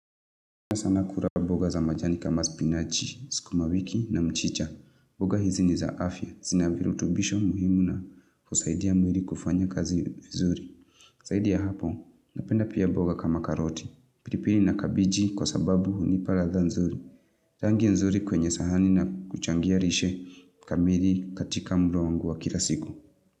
Na sana kura boga za majani kama spinachi, siku mawiki na mchicha. Boga hizi niza afia. Zina virutubisho muhimu na kusaidia mwili kufanya kazi vizuri. Saidi ya hapo. Napenda pia mboga kama karoti. Pilipili na kabiji kwa sababu hunipa ladha nzuri. Tangia nzuri kwenye sahani na kuchangia rishe kamili katika mwili wangu wa kila siku.